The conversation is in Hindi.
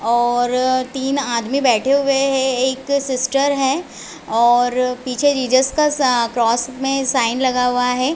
और तीन आदमी बैठे हुए है एक सिस्टर है और पीछे जीसस का क्रॉस में साइन लगा हुआ है।